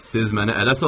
Siz məni ələ salırsınız?